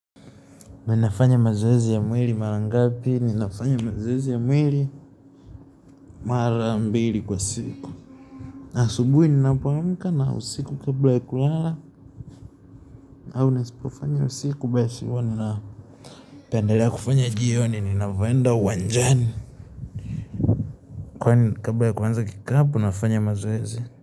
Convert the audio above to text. Minafanya mazoezi ya mwiri marangapi, ninafanya mazoezi ya mwiri mara mbiri kwa siku. Asubui, ninapo amka na usiku kabla ya kulala, au nasipofanya usiku bae siwa nila. Taandelea kufanya jioni, ninavoenda uwanjani. Kwani kabla ya kwanza kikapu, nafanya mazoezi.